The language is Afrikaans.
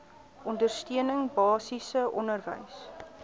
ondersteuning basiese onderwys